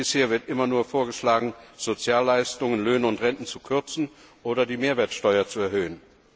Bisher wird immer nur vorgeschlagen, Sozialleistungen, Löhne und Renten zu kürzen oder die Mehrwertsteuer zu erhöhen.